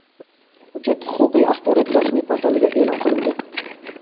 Hujjat huquqiy axborot rasmiy portalida e’lon qilindi.